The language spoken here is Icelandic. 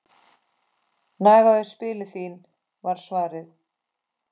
Nagaðu spilin þín var svarið.